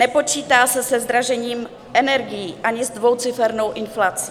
Nepočítá se se zdražením energií ani s dvoucifernou inflací.